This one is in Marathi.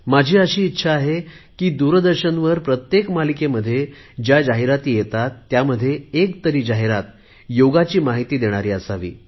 माझी अशी इच्छा आहे की दूरदर्शनवर प्रत्येक मालिकेमध्ये ज्या जाहिराती येतात त्यामध्ये एक जाहिरात योगाची माहिती देणारी असावी